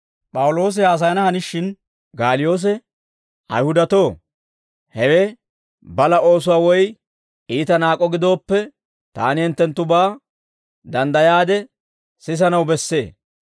P'awuloosi haasayana hanishin, Gaaliyoose Ayihudatuwaa, «Ayihudatoo, hewe balaa oosuwaa woy iita naak'o gidooppe, taani hinttenttubaa danddayaade sisanaw bessee.